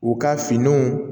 U ka finiw